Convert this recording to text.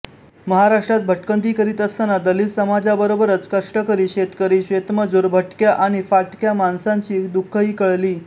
महाराष्ट्रात भटकंती करीत असताना दलित समाजाबरोबरच कष्टकरी शेतकरी शेतमजूर भटक्या आणि फाटक्या माणसांची दुःखही कळली